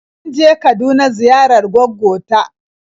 Mun je Kaduna ziyarar gwaggo ta.